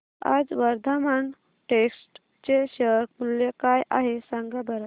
आज वर्धमान टेक्स्ट चे शेअर मूल्य काय आहे सांगा बरं